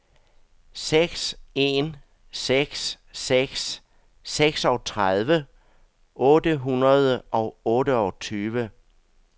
seks en seks seks seksogtredive otte hundrede og otteogtyve